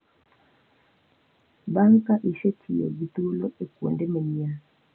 Bang’ ka isetiyo gi thuolo e kuonde manyien,